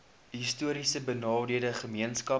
histories benadeelde gemeenskappe